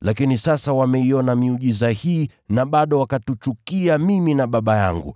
Lakini sasa wameiona miujiza hii na bado wakatuchukia mimi na Baba yangu.